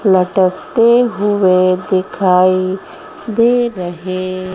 लटकते हुए दिखाई दे रहे।